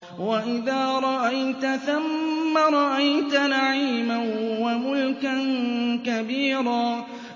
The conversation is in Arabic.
وَإِذَا رَأَيْتَ ثَمَّ رَأَيْتَ نَعِيمًا وَمُلْكًا كَبِيرًا